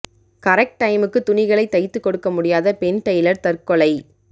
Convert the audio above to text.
correct டைமுக்கு துணிகளை தைத்து கொடுக்க முடியாத பெண் டெய்லர் தற்கொலை